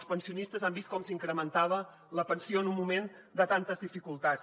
els pensionistes han vist com s’incrementava la pensió en un moment de tantes dificultats